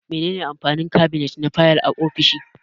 Me ne ne amfanin kabinet na fayal a ofishi?